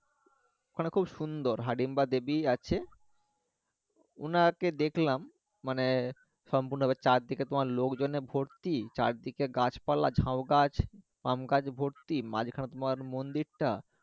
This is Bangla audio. ওখানে খুব সুন্দর হিড়িম্বা দেবী আছে ওনাকে দেখলাম মানে সম্পুর্ণ চারদিকে লোকজনে ভর্তি চারদিকে গাছপালা ঝাউগাছ, আম গাছ ভর্তি মাঝখানে তোমার মন্দিরটা